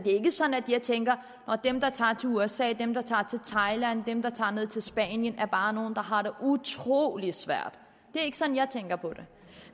ikke sådan at jeg tænker nå dem der tager til usa dem der tager til thailand dem der tager ned til spanien er bare nogle der har det utrolig svært det er ikke sådan jeg tænker på det